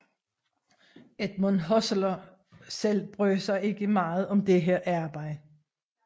Edmund Husserl selv brød sig ikke meget om dette arbejde